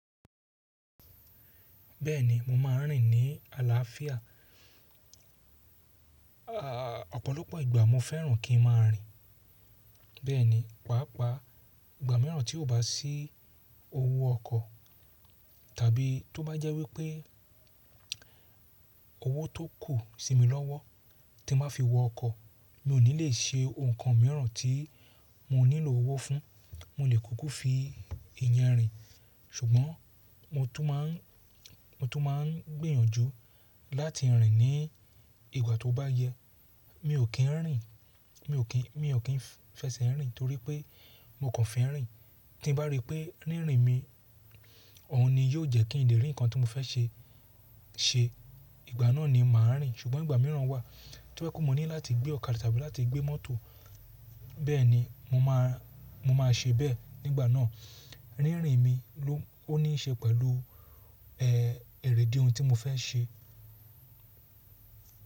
Bẹ́ẹ̀ni, mo máa ń rìn ní àlàáfíà ọ̀pọ̀lọpọ̀ ìgbà mo fẹ́ràn kí n máa rìn. Bẹ́ẹ̀ni, pàápàá ìgbà mìíràn tí ó bá sí owó ọkọ̀ tàbí tó bá jẹ́ wípé owó tó kù sí mi lọ́wọ́ tí máa fi wọ ọkọ̀, mi o ní lè ṣe nǹkan mìíràn tí mo nílò owó fún, mo lè kúkú fi ìyẹn rìn. Ṣùgbọ́n mo tún máa ń, mo tún máa ń gbìyànjú láti rìn ní ìgbà tó bá yẹ. Mi ò kín ń rìn, mi ò kín, mi ò kín fẹsẹ̀ rìn torí pé mo kàn fẹ́ rìn. Tí n bá rí pé rírìn mi ọ̀hún ni yóò jẹ́ kí n lè rí ǹkan tí mo fẹ́ ṣe ṣe, ìgbà náà ni màá rìn. Ṣùgbọ́n ìgbà mìíràn wà tí ó jẹ́ mo ní láti gbé ọ̀kadà tàbí láti gbé mọ́tò, bẹ́ẹ̀ni mo máa, mo máa ṣe bẹ́ẹ̀ nígbà náà. Rírìn mi ló, ó ní í ṣe pẹ̀lú, ẹ́, èrè idí ohun tí mo fẹ́ ṣe.